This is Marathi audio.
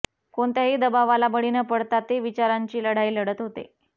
कोणत्याही दबावाला बळी न पडता ते विचारांची लढाई लढत होते